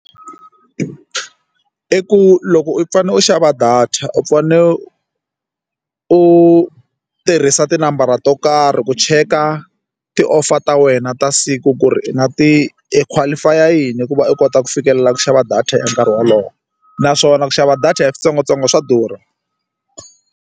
I ku loko u fanele u xava data u fane u tirhisa tinambara to karhi ku cheka ti-offer ta wena ta siku ku ri i na i qualify-a yini ku va u kota ku fikelela ku xava data ya nkarhi wolowo naswona ku xava data hi switsongotsongo swa durha.